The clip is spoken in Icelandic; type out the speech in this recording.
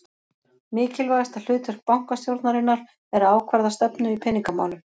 Mikilvægasta hlutverk bankastjórnarinnar er að ákvarða stefnu í peningamálum.